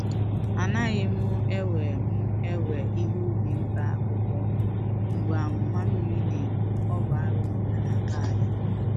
A naghị m ewe m ewe ihe ubi mkpa akwụkwọ mgbe amụma mmiri na-egbu-ọ bụ arụ n’omenala anyị.